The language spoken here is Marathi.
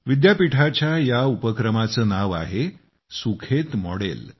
विद्यापीठाच्या या उपक्रमाचे नाव आहे सुखेत मॉडेल